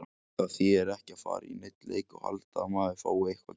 Það þýðir ekki að fara í neinn leik og halda að maður fái eitthvað gefins.